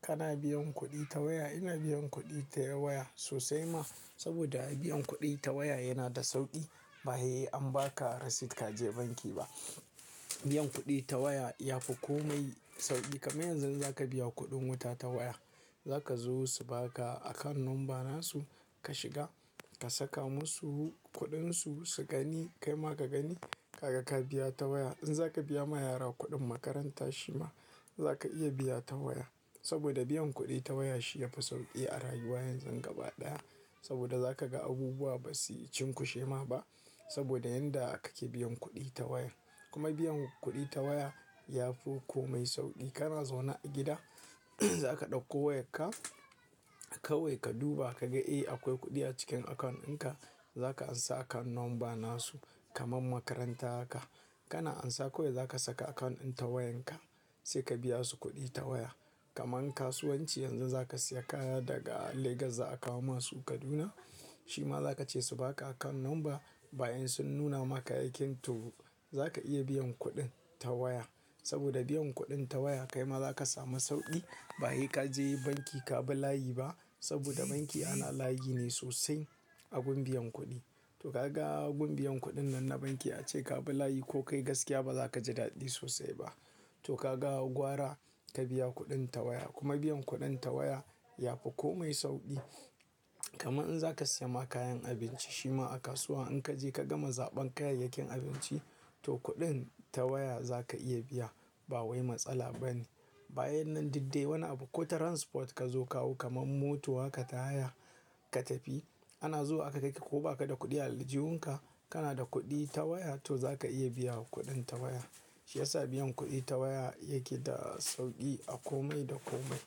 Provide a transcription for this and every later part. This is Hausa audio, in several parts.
Kana biyan kuɗi ta waya, ina biyan kuɗi ta waya sosai ma. Saboda a biyan kuɗi ta waya yana da sauƙi. Ba hei an ba ka receipt ka je banki ba. Biyan kuɗi ta waya yafi komai sauƙi. Kaman yanzu in za ka biya kuɗin wuta ta waya, za ka zo su ba ka account number na su, ka shiga, ka saka musu kuɗin su, su gani. Kai ma ka gani, kaga ka biya ta waya. In za ka biya ma yara kuɗin makaranta shima, za ka iya biya ta waya. Saboda biyan kuɗi ta waya shi yafi sauƙi a rayuwar yanzu gaba ɗaya. Saboda za ka ga abubuwa basu cinkushe ma ba. Saboda yanda kake biyan kuɗi ta waya. Kuma biyan kuɗi ta waya yafi komai sauƙi. Kana zaune a gida, za ka ɗauko wayarka, kawai ka duba ka ga eh akwai kuɗi a cikin account din ka. Za ka amsa account number na su, kaman makaranta haka. Kana ansa kawai za ka saka account din ta wayan ka, sai ka biya su kuɗi ta waya. Kaman kasuwanci yanzu za ka siya kaya daga Lagos za a kawo masu Kaduna. Shima za ka ce su ba ka account number, bayan sun nuna maka kayakin to, za ka iya biyan kuɗin ta waya. Saboda biyan kuɗin ta waya kai ma za ka samu sauƙi. Ba hei ka je banki ka bi layi ba. Saboda banki ana layi ne sosai a gun biyan kuɗi. To ka ga gun biyan kuɗin nan na banki ace ka bi layi ko kai gaskiya ba za ka ji daɗi sosai ba. To ka ga gwara, ka biya kuɗin ta waya. Kuma biyan kuɗin ta waya yafi komai sauƙi. Kaman in za ka siya ma kayan abinci shima a kasuwa in ka je ka gama zaɓan kayayyakin abinci to kuɗin ta waya za ka iya biya. Ba wai matsala bane. Bayan nan didde wani abu ko transport ka zo kawo kaman mota haka ta haya ka tafi, ana zuwa aka kai ka ko baka da kuɗi a aljihunka. Kana da kuɗi ta waya to za ka iya biya kuɗin ta waya. Shi yasa biyan kuɗi ta waya yake da sauƙi a komai da komai.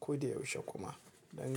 Ko da yaushe kuma. Don.